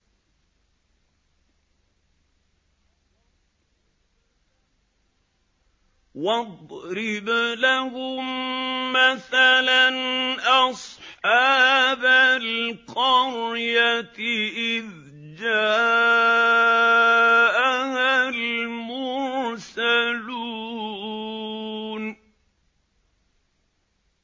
وَاضْرِبْ لَهُم مَّثَلًا أَصْحَابَ الْقَرْيَةِ إِذْ جَاءَهَا الْمُرْسَلُونَ